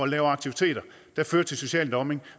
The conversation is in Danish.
lave aktiviteter der fører til social dumping